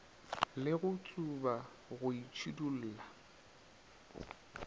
le go tsuba go itšhidulla